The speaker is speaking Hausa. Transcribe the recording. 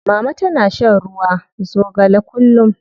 Mama tana shan ruwa zogale kullum.